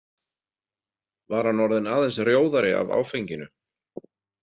Var hann orðinn aðeins rjóðari af áfenginu?